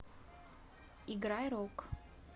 играй рок